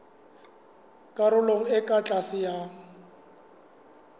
karolong e ka tlase ya